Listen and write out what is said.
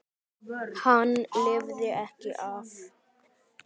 Hann lifði ekki af.